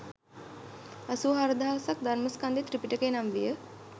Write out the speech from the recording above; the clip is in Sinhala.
අසූ හාරදහසක් ධර්මස්කන්ධය ත්‍රිපිටකය නම් විය